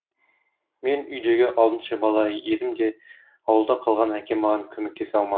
мен үйдегі алтыншы бала едім де ауылда қалған әкем маған көмектесе алмады